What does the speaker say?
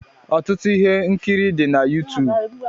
Ọtụtụ ihe nkiri dị na Yuutuub.